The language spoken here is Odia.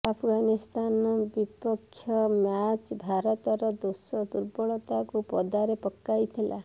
ଆଫଗାନିସ୍ତାନ ବିପକ୍ଷ ମ୍ୟାଚ୍ ଭାରତର ଦୋଷ ଦୁର୍ବଳତାକୁ ପଦାରେ ପକାଇଥିଲା